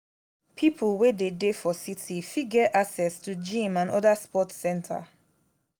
pipo wey dey dey for city fit get access to gym and oda sport center